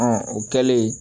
o kɛlen